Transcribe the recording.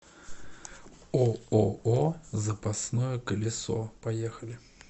ооо запасное колесо поехали